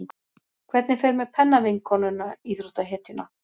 Hvernig fer með pennavinkonuna, íþróttahetjuna?